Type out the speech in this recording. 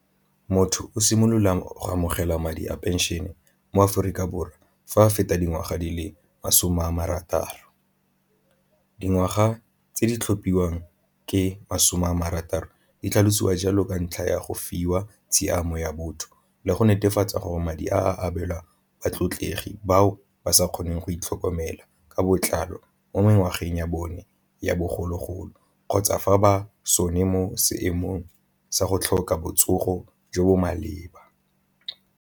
Motho o simololang o amogela madi a pension e mo Aforika Borwa fa a feta dingwaga di le masome a marataro dingwaga tse di tlhomphiwang ke masome a marataro, di tlhalosiwa jalo ka ntlha ya go fiwa tshiamo ya botho le go netefatsa gore madi a abelwang batlegi bao ba sa kgoneng go itlhokomela ka botlalo mo mo ngwageng ya bone ya bogologolo kgotsa fa ba sone mo seemong sa go tlhoka botsogo jo bo maleba.